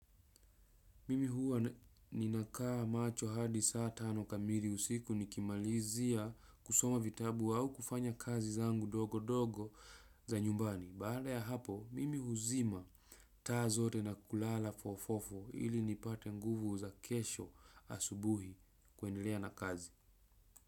Mimi huwa ninakaa macho hadi saa tano kamili usiku nikimalizia kusoma vitabu au kufanya kazi zangu ndogondogo za nyumbani. Baada ya hapo, mimi huzima taa zote na kulala fofofo ili nipate nguvu za kesho asubuhi kuendelea na kazi.